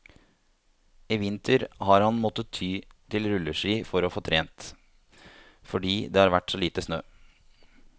I vinter har han måttet ty til rulleski for å få trent, fordi det har vært så lite snø.